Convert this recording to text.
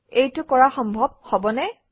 এইটো কৰা সম্ভৱ হব নে